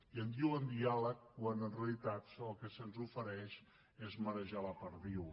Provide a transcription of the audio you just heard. i en diuen diàleg quan en realitat el que se’ns ofereix és marejar la perdiu